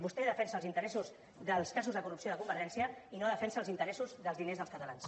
vostè defensa els interessos dels casos de corrupció de convergència i no defensa els interessos dels diners dels catalans